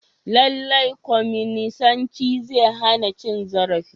Lallai kwaminisanci zai hana cin zarafi.